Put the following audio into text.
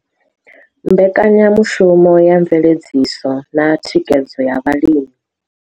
Mbekanya mushumo ya Mveledziso na Thikhedzo ya Vhalimi.